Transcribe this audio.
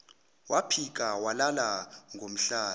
waphika walala ngomhlane